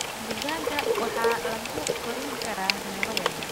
Digaagga waxaa lagu korin karaa meelo yaryar.